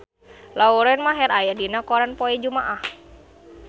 Lauren Maher aya dina koran poe Jumaah